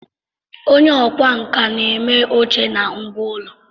Onye ọkwá nkà na-eme oche na ngwá ụlọ